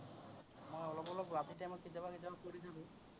মই ৰ time ত কেতিয়াবা কেতিয়াবা পঢ়ি থাকো।